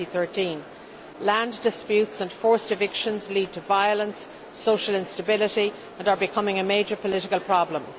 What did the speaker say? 2013. Land disputes and forced evictions lead to violence and social instability and are becoming a major political problem.